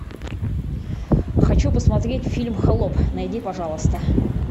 хочу посмотреть фильм холоп найди пожалуйста